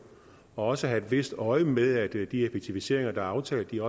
og også have et vist øje med at de effektiviseringer der er aftalt bliver